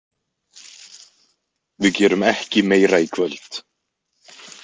Við gerum ekki meira í kvöld.